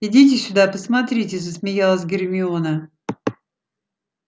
идите сюда посмотрите засмеялась гермиона